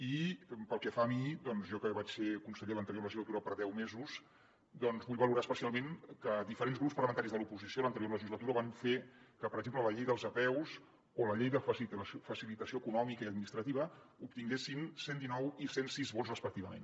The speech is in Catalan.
i pel que fa a mi doncs jo que vaig ser conseller l’anterior legislatura per deu mesos vull valorar especialment que diferents grups parlamentaris de l’oposició a l’anterior legislatura van fer que per exemple la llei de les apeu o la llei de facilitació econòmica i administrativa obtinguessin cent i dinou i cent i sis vots respectivament